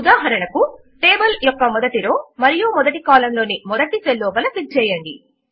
ఉదాహరణకు టేబుల్ యొక్క మొదటి రో మరియు మొదటి కాలం లోని మొదటి సెల్ లోపల క్లిక్ చేయండి